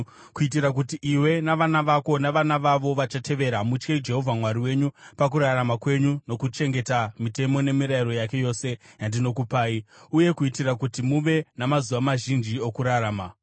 kuitira kuti iwe, navana vako navana vavo vachavatevera mutye Jehovha Mwari wenyu pakurarama kwenyu nokuchengeta mitemo nemirayiro yake yose yandinokupai, uye kuitira kuti muve namazuva mazhinji okurarama.